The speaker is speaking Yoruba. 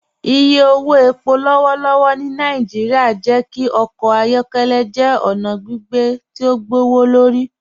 Ìyẹ̀ owó ẹ̀pọ̀ lọ́wọ̀lọ́wọ̀ ni Naijíríà jẹ́ kí ọkọ ayọkẹlẹ jẹ́ ọna gbìgbé tí o gbọwọ́lọ́rì